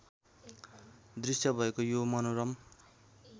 दृश्य भएको यो मनोरम